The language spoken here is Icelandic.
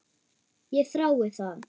Ég þrái það.